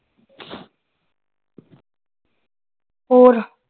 ਹੋਰ